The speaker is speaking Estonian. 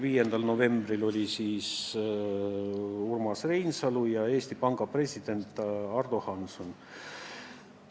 5. novembril olid peale Urmas Reinsalu kutsutud ka Eesti Panga president Ardo Hansson ja teised panga esindajad.